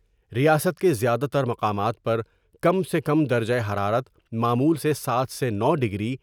ریاست کے زیادہ تر مقامات پر کم سے کم درجہ حرارت معمول سے سات سے نو ڈگری۔